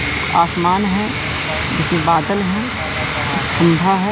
आसमान हैं उसमें बादल हैं ठंडा हैं।